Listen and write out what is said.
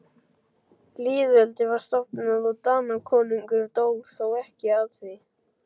Lýðveldið var stofnað og Danakonungur dó, þó ekki af því.